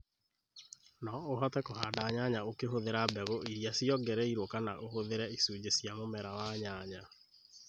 No ũhote kũhanda nyanya ukihuthira mbegũ iria ciongereirũo kana ũhũthĩre icunjĩ cia mũmera wa nyanya.